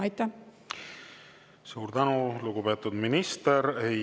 Suur tänu, lugupeetud minister!